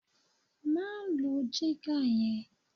Má lo jígà yẹn!